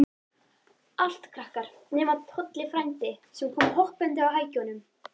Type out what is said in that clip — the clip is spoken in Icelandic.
Allt krakkar, nema Tolli frændi, sem kom hoppandi á hækjunum.